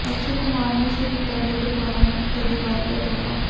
ਅਕਸ਼ੇ ਕੁਮਾਰ ਨੇ ਸ਼ਹੀਦਾਂ ਦੇ ਪਰਿਵਾਰਾਂ ਨੂੰ ਦਿੱਤਾ ਦੀਵਾਲੀ ਦਾ ਤੋਹਫ਼ਾ